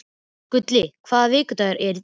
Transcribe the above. Gulli, hvaða vikudagur er í dag?